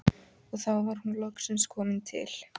Og þá var hún loksins komin til